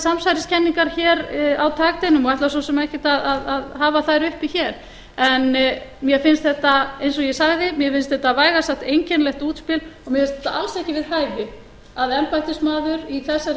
samsæriskenningar hér á takteinum og ætla svo sem ekkert að hafa þær uppi hér en mér finnst þetta eins og ég sagði mér finnst þetta vægast sagt einkennilegt útspil og mér finnst það alls ekki við hæfi að embættismaður í þessari